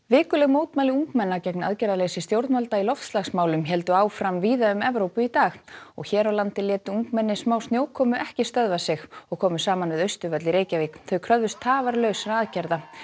vikuleg mótmæli ungmenna gegn aðgerðarleysi stjórnvalda í loftslagsmálum héldu áfram víða um Evrópu í dag hér á landi létu ungmenni smá snjókomu ekki stöðva sig og komu saman við Austurvöll í Reykjavík þau kröfðust tafarlausra aðgerða